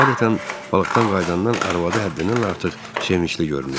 Adətən balıqdan qayıdandan arvadı həddindən artıq sevincli görünürdü.